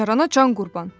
Bacarana can qurban.